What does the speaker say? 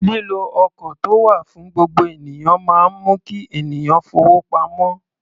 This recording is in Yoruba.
Lílo ọkọ̀ tó wà fún gbogbo ènìyàn máa ń mú kí ènìyàn fowó pamọ́.